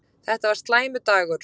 Þetta var slæmur dagur.